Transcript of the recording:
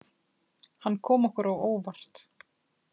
Hann kom okkur á óvart.